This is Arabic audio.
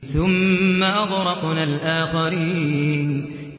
ثُمَّ أَغْرَقْنَا الْآخَرِينَ